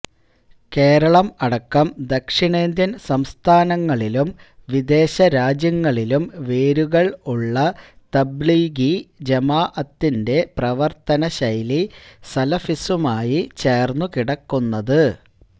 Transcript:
കേരളം അടക്കം ദക്ഷിണേന്ത്യൻ സംസ്ഥാനങ്ങളിലും വിദേശരാജ്യങ്ങളിലും വേരുകൾ ഉള്ള തബ്ലീഗി ജമാഅത്തിന്റെ പ്രവർത്തന ശൈലി സലഫിസവുമായി ചേർന്നു കിടക്കുന്നത്